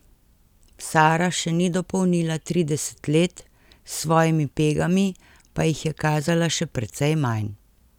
Sara še ni dopolnila trideset let, s svojimi pegami pa jih je kazala še precej manj.